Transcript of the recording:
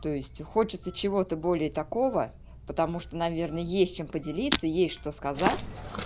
то есть и хочется чего-то более такого потому что наверное есть чем поделиться есть что сказать